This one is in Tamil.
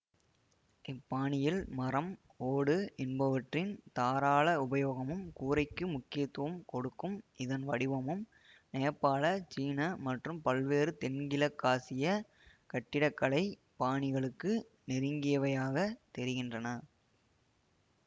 இப்பாணியில் மரம் ஓடு என்பவற்றின் தாராள உபயோகமும் கூரைக்கு முக்கியத்துவம் கொடுக்கும் இதன் வடிவமும் நேபாள சீன மற்றும் பல்வேறு தென்கிழக்காசியக் கட்டிட கலை பாணிகளுக்கு நெருங்கியவையாகத் தெரிகின்றன